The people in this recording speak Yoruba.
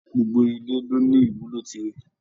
Gbogbo ile ló ní ìwúlò tirẹ.